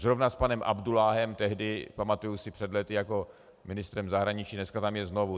Zrovna s panem Abdulláhem tehdy, pamatuji si před léty, jako ministrem zahraničí, dnes tam je znovu.